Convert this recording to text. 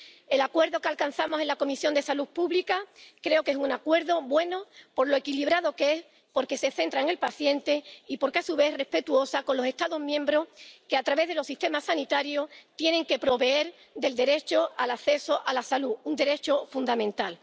Creo que el acuerdo que alcanzamos en la Comisión de Medio Ambiente, Salud Pública y Seguridad Alimentaria es un acuerdo bueno por lo equilibrado que es, porque se centra en el paciente y porque, a su vez, es respetuoso con los Estados miembros que, a través de los sistemas sanitarios, tienen que proveer del derecho al acceso a la salud, un derecho fundamental.